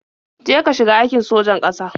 Je ka shiga aikin sojan ƙasa.